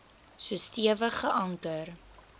so stewig geanker